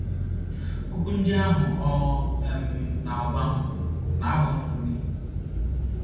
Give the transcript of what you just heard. Okwu ndị ahụ ọ um na - agwa m na - agba m ume. ”